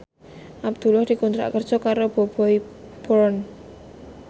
Abdullah dikontrak kerja karo Bobbi Brown